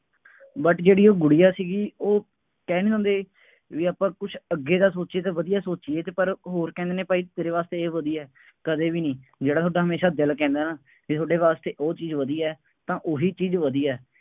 but ਜਿਹੜੀ ਉਹ ਗੁੜੀਆ ਸੀਗੀ ਉਹ ਕਹਿੰਦੇ ਹੁੰਦੇ ਬਈ ਆਪਾਂ ਕੁੱਛ ਅੱਗੇ ਦਾ ਸੋਚੀਏ ਤਾਂ ਵਧੀਆ ਸੋਚੀਏ ਅਤੇ ਪਰ ਹੋਰ ਕਹਿੰਦੇ ਨੇ ਭਾਈ ਤੇਰੇ ਵਾਸਤੇ ਇਹ ਵਧੀਆ, ਕਦੇ ਵੀ ਨਹੀਂ, ਜਿਹੜਾ ਹੁੰਦਾ ਹਮੇਸ਼ਾ ਦਿਲ ਕਹਿੰਦਾ ਬਈ ਤੁਹਾਡੇ ਵਾਸਤੇ ਉਹ ਚੀਜ਼ ਵਧੀਆ, ਤਾਂ ਉਹੀ ਚੀਜ਼ ਵਧੀਆ।